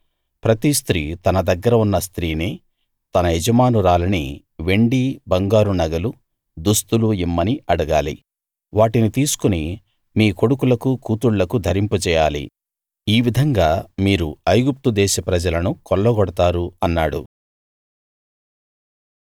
ప్రతి స్త్రీ తన దగ్గర ఉన్న స్త్రీని తన యజమానురాలిని వెండి బంగారు నగలు దుస్తులు ఇమ్మని అడగాలి వాటిని తీసుకుని మీ కొడుకులకు కూతుళ్ళకు ధరింపజేయాలి ఈ విధంగా మీరు ఐగుప్తు దేశ ప్రజలను కొల్లగొడతారు అన్నాడు